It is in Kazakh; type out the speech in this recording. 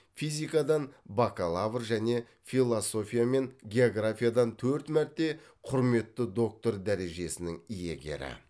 физикадан бакалавр және философия мен географиядан төрт мәрте құрметті доктор дәрежесінің иегері